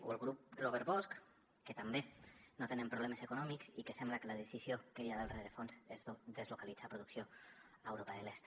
o el grup robert bosch que tampoc no tenen problemes econòmics i que sembla que la decisió que hi ha del rerefons és deslocalitzar la producció a europa de l’est